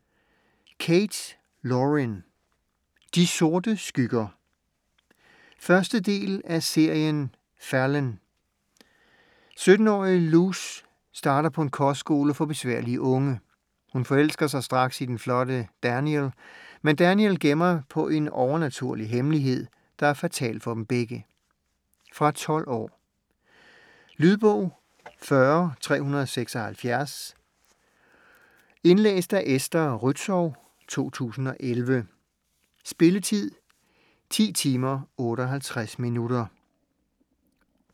Kate, Lauren: De sorte skygger 1. del af serien Fallen. 17-årige Luce starter på en kostskole for besværlige unge. Hun forelsker sig straks i den flotte Daniel. Men Daniel gemmer på en overnaturlig hemmelighed, der er fatal for dem begge. Fra 12 år. Lydbog 40376 Indlæst af Esther Rützou, 2011. Spilletid: 10 timer, 58 minutter.